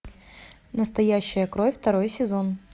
настоящая кровь второй сезон